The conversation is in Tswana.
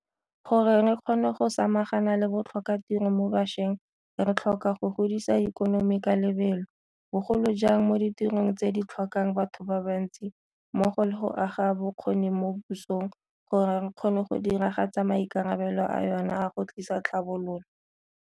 Gore re kgone go samagana le botlhokatiro mo bašweng re tlhoka go godisa ikonomi ka lebelo, bogolo jang mo ditirong tse di tlhokang batho ba bantsi, mmogo le go aga bokgoni mo pusong gore e kgone go diragatsa maikarabelo a yona a go tlisa tlhabololo.